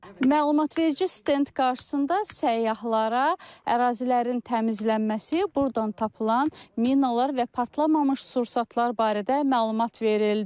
Məlumatverici stend qarşısında səyyahlara ərazilərin təmizlənməsi, burdan tapılan minalar və partlamamış sursatlar barədə məlumat verildi.